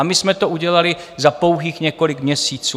A my jsme to udělali na pouhých několik měsíců.